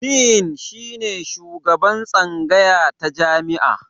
Din shine shugaban tsangaya ta jami'a.